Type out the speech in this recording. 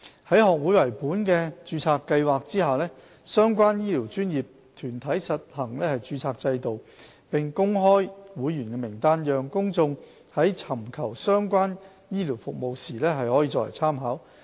在學會為本的註冊計劃下，相關醫療專業團體實行註冊制度，並公開其會員名單，讓公眾在尋求相關醫療服務時作為參考。